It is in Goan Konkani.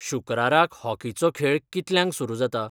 शुक्राराक हॉकीचो खेळ कितल्यांक सुरू जाता?